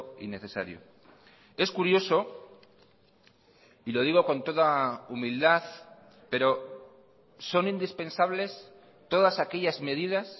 innecesario es curioso y lo digo con toda humildad pero son indispensables todas aquellas medidas